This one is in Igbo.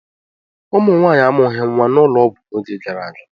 Ụmụ Nwaanyị amụghị nwa n'ụlọọgwụ n'oge gara aga.